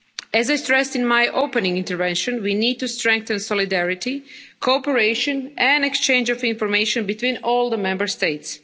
As I stressed in my opening intervention, we need to strengthen solidarity, cooperation and exchange of information between all the Member States.